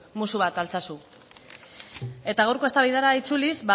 musu bat altsasu eta gaurko eztabaidara itzuliz